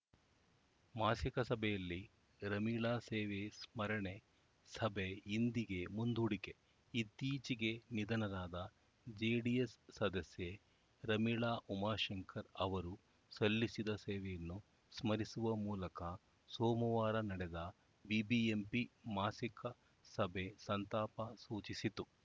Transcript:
ಮಾಸಿಕ ಸಭೆಯಲ್ಲಿ ರಮೀಳಾ ಸೇವೆ ಸ್ಮರಣೆ ಸಭೆ ಇಂದಿಗೆ ಮುಂದೂಡಿಕೆ ಇತ್ತೀಚೆಗೆ ನಿಧನರಾದ ಜೆಡಿಎಸ್‌ ಸದಸ್ಯೆ ರಮೀಳಾ ಉಮಾಶಂಕರ್‌ ಅವರು ಸಲ್ಲಿಸಿದ ಸೇವೆಯನ್ನು ಸ್ಮರಿಸುವ ಮೂಲಕ ಸೋಮವಾರ ನಡೆದ ಬಿಬಿಎಂಪಿ ಮಾಸಿಕ ಸಭೆ ಸಂತಾಪ ಸೂಚಿಸಿತು